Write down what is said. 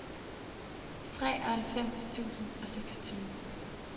treoghalvfems tusind og seksogtyve